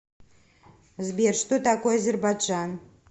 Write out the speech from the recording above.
сбер что такое азербайджан